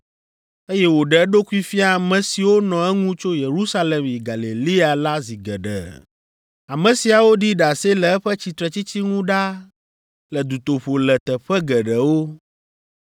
eye wòɖe eɖokui fia ame siwo nɔ eŋu tso Yerusalem yi Galilea la zi geɖe. Ame siawo ɖi ɖase le eƒe tsitretsitsi ŋu ɖaa le dutoƒo le teƒe geɖewo.